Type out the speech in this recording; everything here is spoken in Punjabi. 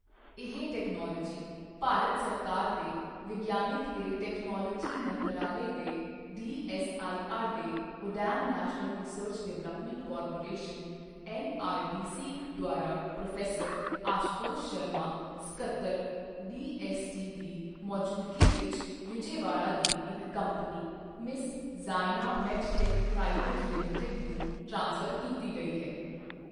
ਇਹ ਟੈਕਨੋਲਵੋਜੀ ਭਾਰਤ ਸਰਕਾਰ ਦੇ ਵਿਗਿਆਨ ਤੇ ਟੈਕਨੋਲਵੋਜੀ ਮੰਤਰਾਲੇ ਦੇ ਡੀਐੱਸਆਈਆਰ ਦੇ national research development corporation NRDC ਦੁਆਰਾ ਪ੍ਰੋ. ਆਸ਼ੂਤੋਸ਼ ਸ਼ਰਮਾ, ਸਕੱਤਰ, ਡੀਐੱਸਟੀ ਦੀ ਮੌਜੂਦਗੀ ਵਿੱਚ ਵਿਜੇਵਾੜਾ ਦੀ ਇੱਕ company messrs. Zaina medtech private limited ਨੂੰ ਟ੍ਰਾਂਸਫ਼ਰ ਕੀਤੀ ਗਈ ਹੈ।